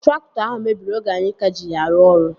Traktọ ahụ mebiri oge anyị ka ji ya arụ ọrụ